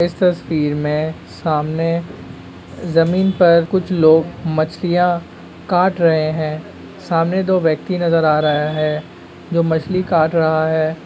इस तस्वीर में सामने जमीन पर कुछ लोग मछलियां काट रहे हैं सामने दो व्यक्ति नजर आ रहा है जो मछली काट रहा है।